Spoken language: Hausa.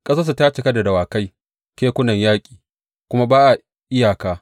Ƙasarsu ta cika da dawakai; kekunan yaƙinsu kuma ba iyaka.